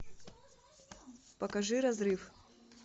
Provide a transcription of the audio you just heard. покажи разрыв